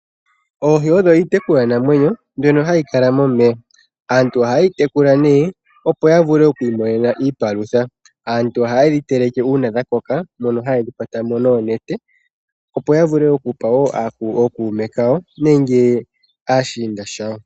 Oohi odho iitekulwanamwenyo mbyno hayi lala momeya. Aantu ohaye yi tekula nee opo ya vulu oku imonena iipalutha. Aantu ohaye dhi teleke uudha dha koka, mono haye dhi kwata mo noonete, opo ya vule okupa wo ookuume kawo nenge aashinda yawo.